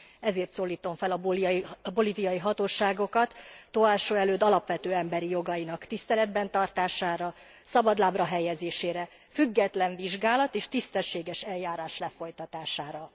Ezért szólítom fel a bolíviai hatóságokat Tóásó Előd alapvető emberi jogainak tiszteletben tartására, szabadlábra helyezésére, független vizsgálat és tisztességes eljárás lefolytatására.